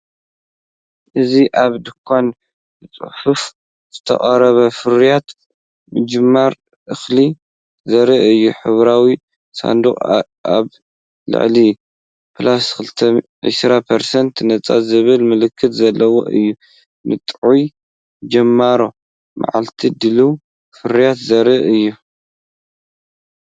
እዚ ኣብ ድኳን ብጽፉፍ ዝተቐረበ ፍርያት ምጅማር እኽሊ ዘርኢ እዩ። ሕብራዊ ሳንዱቕን ኣብ ላዕሊ '+20% ነጻ' ዝብል ምልክትን ዘለዎ እዩ። ንጥዑይ ጅማሮ መዓልቲ ድሉው ፍርያት ዘርኢ እዩ።